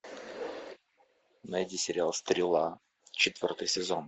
найди сериал стрела четвертый сезон